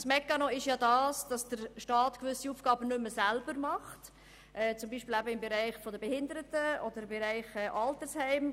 Der Mechanismus funktioniert so, dass der Staat gewisse Aufgaben nicht mehr selber ausführt, zum Beispiel im Bereich der Behindertenbetreuung oder der Altersheime.